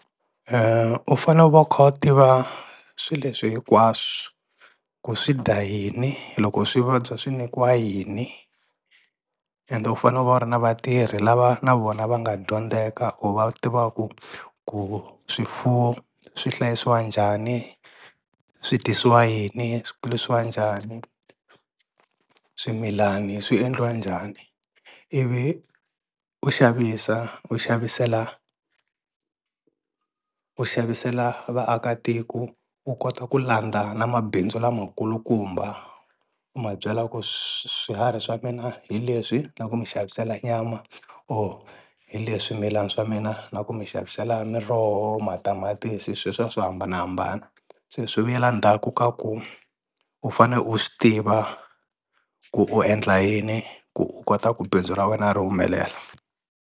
U fane u va u kha u tiva swi leswi hinkwaswo ku swidya yini loko swi vabya swi nyikiwa yini ende u fanele u va u ri na vatirhi lava na vona va nga dyondzeka u va u tiva ku ku swifuwo swi hlayisiwa njhani swi dyisiwa yini swi kulisiwa njhani swimilani swi endliwa njhani ivi u xavisa u xavisela u xavisela vaakatiko u kota ku landza na mabindzu lamakulukumba u ma byela ku swiharhi swa mina hi leswi na ku mi xavisela nyama or hi leswi swimilani swa mina na ku mi xavisela miroho matamatisi sweswiya swo hambanahambana se swi vuyela ndzhaku ka ku u fane u swi tiva ku u endla yini ku u kota ku bindzu ra wena ri humelela.